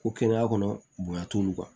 Ko kɛnɛya kɔnɔ bonya t'olu kan